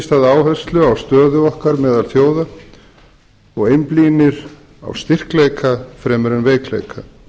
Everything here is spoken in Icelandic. stað áherslu á stöðu okkar meðal þjóða og einblínir á styrkleika okkar fremur en veikleika